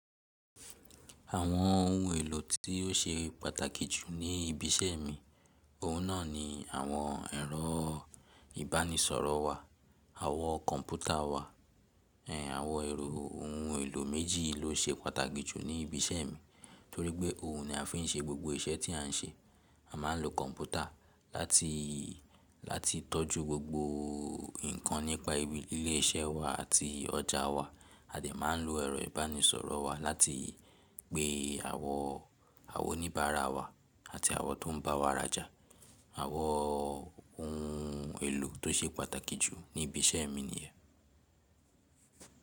Àwọn ohun èlò tí ó ṣe pàtàkì jù ní ibi iṣẹ́ mi, òun náà ni àwọn ẹ̀rọ ìbánisọ̀rọ̀ wa, àwọn kọ̀ḿpútà wa. Ehn, àwọn ẹ̀rọ ohun èlò méjì ló ṣe pàtàkì jù ní ibi iṣẹ́ mi, torí pé òun ni a fi ń ṣe gbogbo iṣẹ́ tí à ń ṣe. A máa ń lo kọ̀ḿpútà láti, láti tọ́jú gbogbo nǹkan nípa ibi ilé iṣẹ́ wa àti ọjà wa. A dẹ̀ máa ń lo ẹ̀rọ ìbánisọ̀rọ̀ wa láti pe àwọn, àwọn oníbàárà wa àti àwọn tó ń bá wa rajà. Àwọn ohun èlò tó ṣe pàtàkì jù ní ibi iṣẹ́ mi ni yen.